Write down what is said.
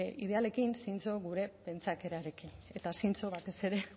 idealekin zintzo gure pentsakerarekin eta zintzo batez ere